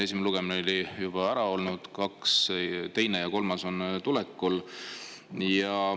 Esimene lugemine on juba ära olnud, teine ja kolmas on tulekul.